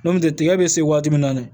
N'o tɛ tigɛ be se waati min na dɛ